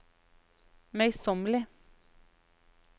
møysommelige